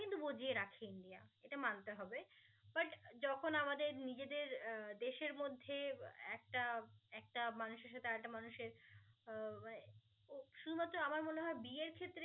কিন্তু বুঝিয়ে রাখে ইন্ডিয়া এটা মানতে হবে but যখন আমাদের নিজেদের আহ দেশের মধ্যে একটা একটা মানুষের সাথে আর একটা মানুষের